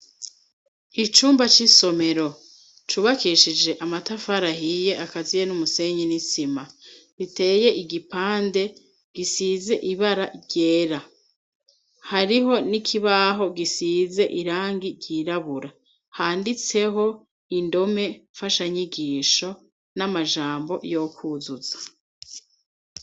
Icumba c'isomero cubakishije amatafarahiye akaziye n'umusenye n'isima biteye igipande gisize ibara ryera hariho nikibaho gisize irangi ryirabura handitseho indome fasha nyigisho n'amajambo yokwuzuza.